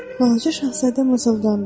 Balaca şahzadə mızıldandı.